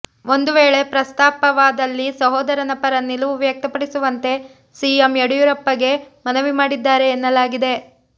ಒಂದು ವೇಳೆ ಪ್ರಸ್ತಾಪವಾದಲ್ಲಿ ಸಹೋದರನ ಪರ ನಿಲುವು ವ್ಯಕ್ತಪಡಿಸುವಂತೆ ಸಿಎಂ ಯಡಿಯೂರಪ್ಪಗೆ ಮನವಿ ಮಾಡಿದ್ದಾರೆ ಎನ್ನಲಾಗಿದೆ